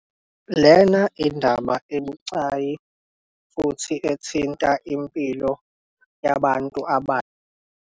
Lena indaba ebucayi futhi ethinta impilo yabantu .